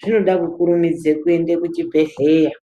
zvinoda kukurumidze kuenda kuchibhedhlera.